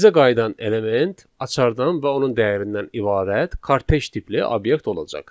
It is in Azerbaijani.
Bizə qayıdan element açardan və onun dəyərindən ibarət karpeş tipli obyekt olacaq.